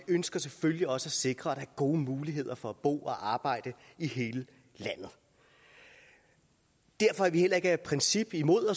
ønsker selvfølgelig også at sikre gode muligheder for at bo og arbejde i hele landet derfor er vi heller ikke af princip imod